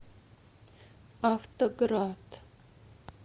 автоград